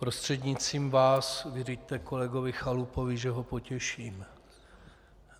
Prostřednictvím vás vyřiďte kolegovi Chalupovi, že ho potěším.